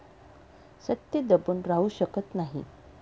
सत्य दबून राहू शकत नाही.